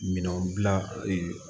Minɛnw dilan